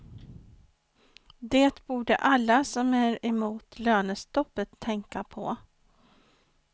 De borde alla som är emot lönetstoppet tänka på.